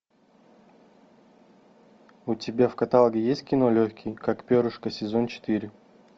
у тебя в каталоге есть кино легкий как перышко сезон четыре